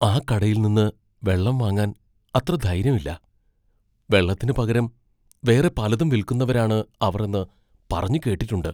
ആ കടയിൽനിന്ന് വെള്ളം വാങ്ങാൻ അത്ര ധൈര്യം ഇല്ല, വെള്ളത്തിന് പകരം വേറെ പലതും വിൽക്കുന്നവരാണ് അവർ എന്ന് പറഞ്ഞ് കേട്ടിട്ടുണ്ട്.